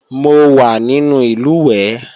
Mo wà nínú ìlùwẹ̀ẹ̀